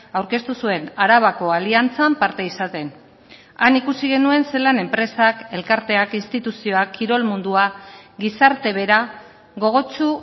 aurkeztu zuen arabako aliantzan parte izaten han ikusi genuen zelan enpresak elkarteak instituzioak kirol mundua gizarte bera gogotsu